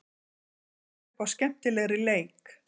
Það býður upp á skemmtilegri leik.